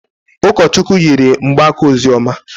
Ụkọchukwu yiri mgbaaka ozioma